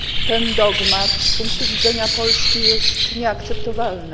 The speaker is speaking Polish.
Ten dogmat z punktu widzenia Polski jest nieakceptowalny.